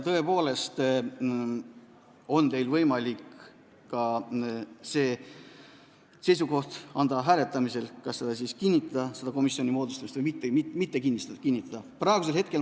Tõepoolest on teil võimalik oma seisukohta väljendada hääletamisel ja komisjoni moodustamist kas kinnitada või mitte.